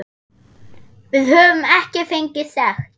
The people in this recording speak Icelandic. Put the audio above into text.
Við höfum ekki fengið sekt.